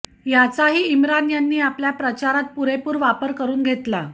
याचाही इम्रान यांनी आपल्या प्रचारात पुरेपूर वापर करून घेतला